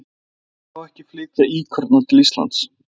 Af hverju má ekki flytja íkorna til Íslands?